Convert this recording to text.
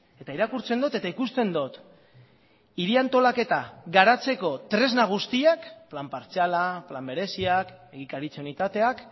eta irakurtzen dut eta ikusten dut hiri antolaketa garatzeko tresna guztiak plan partziala plan bereziak egikaritza unitateak